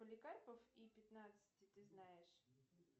поликарпов и пятнадцати ты знаешь